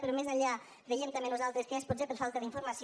però més enllà creiem també nosaltres que és potser per falta d’informació